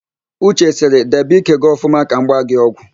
Uche sịrị, debe ike gị ọfụma ka m gba gị ọgwụ!